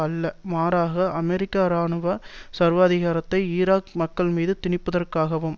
அல்ல மாறாக அமெரிக்க இராணுவ சர்வாதிகாரத்தை ஈராக் மக்கள் மீது திணிப்பதற்காகவாகும்